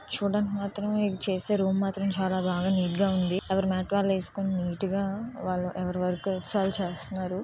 చూడ్డానికి మాత్రం వీళ్ళు చేసే రూమ్ మాత్రం చాలా బాగా నీట్ గా ఉంది. ఎవరి మ్యాట్ వాళ్ళు వేసుకొని నీట్ గా ఎవరి వరకు వాళ్లు ఎక్సర్సైజ్ చేస్తున్నారు.